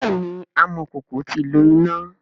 bẹẹni amọkoko ti lo ina.